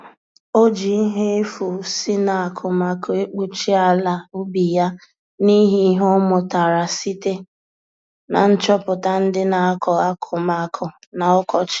O ji ihe efu si na akụmakụ ekpuchi ala ubi ya n'ịhị ihe ọmụtara site na nchọpụta ndị na akọ akụmakụ na ọkọchị